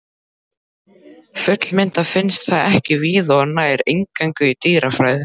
Fullmyndað finnst það ekki víða og nær eingöngu í dýrafæðu.